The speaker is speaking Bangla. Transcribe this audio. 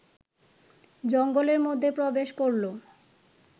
জঙ্গলের মধ্যে প্রবেশ করল